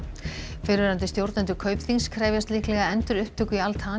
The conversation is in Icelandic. fyrrverandi stjórnendur Kaupþings krefjast líklega endurupptöku í Al